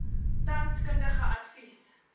tans kundige advies